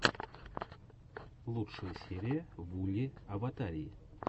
лучшая серия вулли аватарии